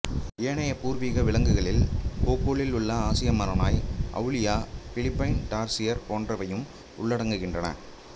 ஏனைய பூர்வீக விலங்குகளில் போகொலில் உள்ள ஆசிய மரநாய் ஆவுளியா பிலிப்பைன் டார்சியர் போன்றவயும் உள்ளடங்குகின்றன